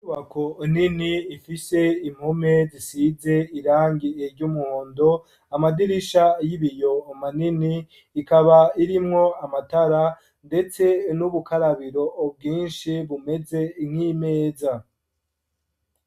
Inyubako nini ifise impome zisize irangi ry'umuhondo, amadirisha y'ibiyo manini, ikaba irimwo amatara, ndetse n'ubukarabiro bwinshi bumeze nk'imeza.